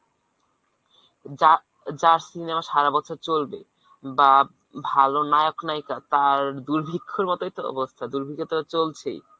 যার যার cinema সারা বছর চলবে, বা ভাল নায়ক নায়িকা তার দুর্ভিক্ষের মতই তো অবস্থা। দুর্ভিক্ষ তো চলছেই।